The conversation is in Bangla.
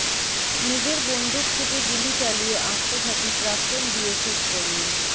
নিজের বন্দুক থেকে গুলি চালিয়ে আত্মঘাতী প্রাক্তন বিএসএফ কর্মী